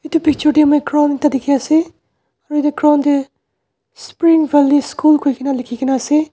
edu picture tae moi ground ekta dikhiase aru yatae ground tae spring valley school koikaena likhina ase.